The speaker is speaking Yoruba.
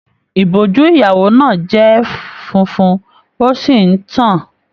Ìbojú ìyàwó náà jẹ fúnfún, o sí n tán-an.